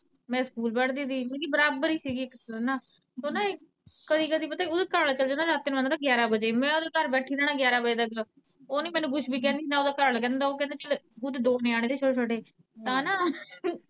ਮੈਂ ਸਕੂਲ ਪੜਦੀ ਸੀ, ਮਤਲਬ ਕਿ ਬਰਾਬਰ ਹੀ ਸੀਗੀ ਓਹ ਨਾ ਕਦੀ ਕਦੀ ਪਤਾ ਨਾ ਓਦਾ ਘਰਵਾਲਾ ਚੱਲ ਜਾਂਦਾ ਰਾਤੀਂ ਨੂੰ ਆਂਦਾ ਹੀ ਗਿਆਰਾਂ ਵਜੇ ਮੈਂ ਓਨਾਂ ਦੇ ਘਰ ਬੈਠੀ ਰਹਿਣਾ ਗਿਆਰਾਂ ਵਜੇ ਤੱਕ, ਨਾ ਓਹ ਮੈਨੂੰ ਕੁੱਝ ਕਹਿੰਦੀ ਨਾ ਓਦਾ ਘਰਵਾਲਾ ਮਿਨੂੰ ਕਹਿੰਦਾ, ਓਹ ਕਹਿੰਦਾ ਜਦੋਂ ਖੁਦ ਦੋ ਨਿਆਣੇ ਹੋਏ ਛੋਟੇ-ਛੋਟੇ ਤਾਂ ਨਾ।